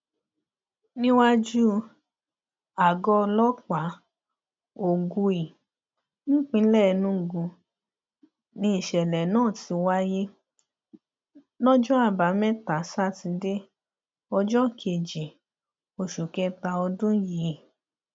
níwájú àgọ ọlọpàá ogui nípínlẹ enugu nìṣẹlẹ náà ti wáyé lọjọ àbámẹta sátidé ọjọ kejì oṣù kẹta ọdún yìí